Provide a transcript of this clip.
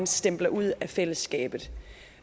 stempler ud af fællesskabet